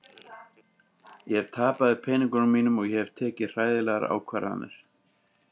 Ég tapaði peningunum mínum og hef tekið hræðilegar ákvarðanir.